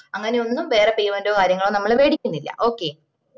അങ്ങനെ ഒന്നും വേറെ payment ഓ കാര്യങ്ങളോ നമ്മള് വേടിക്കിന്നില്ല okay